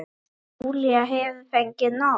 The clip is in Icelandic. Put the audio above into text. En Júlía hefur fengið nóg.